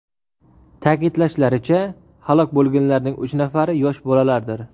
Ta’kidlashlaricha, halok bo‘lganlarning uch nafari – yosh bolalardir.